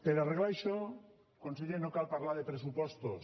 per arreglar això conseller no cal parlar de pressupostos